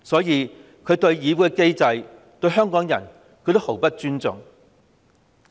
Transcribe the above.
因此，她對議會機制、香港人也毫不尊重。